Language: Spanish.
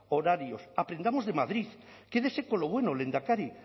horarios aprendamos de madrid quédese con lo bueno lehendakari